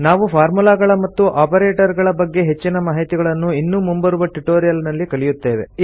ನಾವು ಫಾರ್ಮುಲಾಗಳ ಮತ್ತು ಒಪರೇಟರ್ ಗಳ ಬಗ್ಗೆ ಹೆಚ್ಚಿನ ಮಾಹಿತಿಗಳನ್ನು ಇನ್ನೂ ಮುಂಬರುವ ಟ್ಯುಟೋರಿಯಲ್ ನಲ್ಲಿ ಕಲಿಯುತ್ತೇವೆ